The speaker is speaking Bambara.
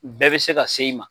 Bɛɛ bɛ se ka se i ma.